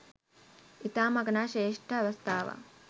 ඉතාම අගනා ශ්‍රේෂ්ඨ අවස්ථාවක්.